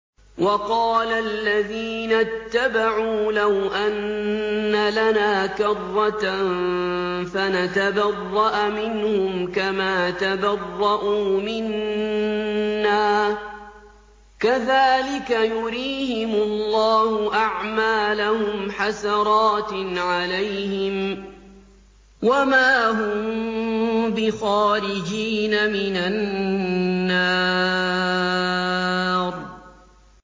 وَقَالَ الَّذِينَ اتَّبَعُوا لَوْ أَنَّ لَنَا كَرَّةً فَنَتَبَرَّأَ مِنْهُمْ كَمَا تَبَرَّءُوا مِنَّا ۗ كَذَٰلِكَ يُرِيهِمُ اللَّهُ أَعْمَالَهُمْ حَسَرَاتٍ عَلَيْهِمْ ۖ وَمَا هُم بِخَارِجِينَ مِنَ النَّارِ